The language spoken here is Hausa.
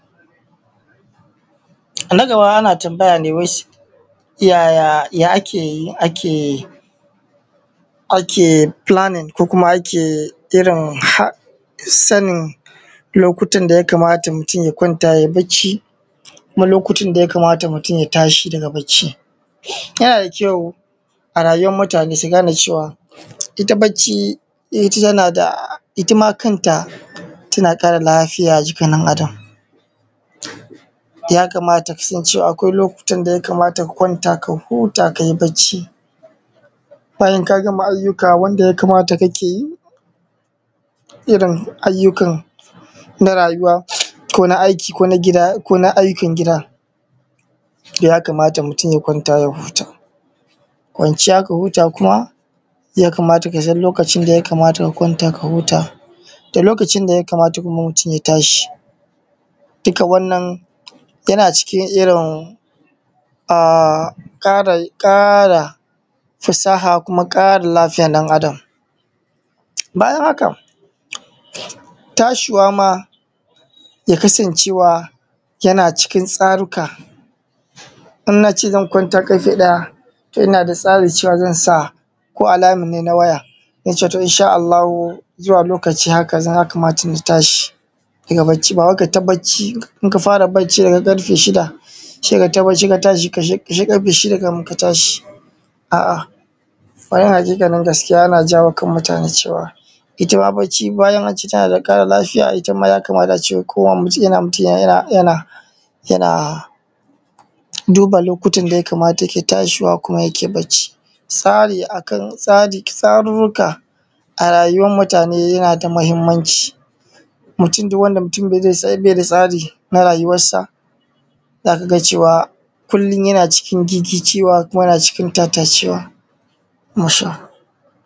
Na gaba ana tambaya ne ya ake planning ko ake sanin lokutan da y kamata mutun ya kwanta ya yi bacci, da kuma lokutan da ya kamata mutum ya tashi daga bacci. Yana da ƙyau a rayuwar mutane su gane cewa ita bacci tana da ita ma kanta tana ƙara lafiya a jikin ɗan Adam. Ya kamata kasan lokuta da ya kamata ka kwanta ka huta ka yi bacci, bayan ka gama ayyukan da kake yi irin ayyukan na rayuwa ko na aiki ko na gida ko na aikin gida ya kamata mutum ya kwana sai ya huta. Kwanciya ka huta kuma kamata kasan lokacin da ya kamata ka kwanta ka huta da lokacin da ya kamata mutum ya tashi, dukka wannan yana cikin ƙara fasaha da kuma ƙara lafiyar ɗan Adam. Bayana haka tashi ma ya kasance yan cikin tsarukan idan na ce zan kwanta ƙarfe ɗaya ina da tsarin za sa alarm a waya, insha Allah zuwa lokacin zan tashi, ba wai ka yi ta bacci. Idan ka fara bacci daga karfe shida ka yi bacci sai karfe shida kafin ka tashi. A haƙiƙanin gaskiya ana jawo hankalin jama'a cewa bayan bacci tana ƙara lafiya za a ce mutum yana duba lokuta da ya kamata yake tashi bacci. Tsururruka a rayuwan mutane yana da muhimmanci mutum duk wanda ba i da tsari na rayuwarsa za ka ga cewa kullum yan cikin gigicewa koma yana cikin tattacewa.